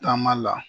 Taama la